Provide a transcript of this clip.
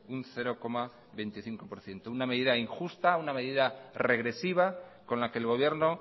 un cero coma veinticinco por ciento una medida injusta una medida regresiva con la que el gobierno